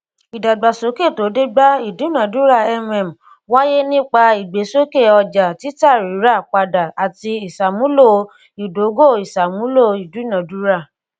idagbasoke to de ba idunadura mm waye nipa igbesoke oja titarirapada ati isamulo idogoisamulo idunadura